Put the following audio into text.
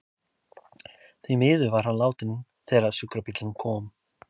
Því miður var hann látinn þegar sjúkrabíllinn kom.